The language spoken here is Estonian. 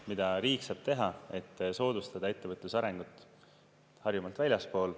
Mida riik saab teha: soodustada ettevõtluse arengut ka Harjumaalt väljaspool.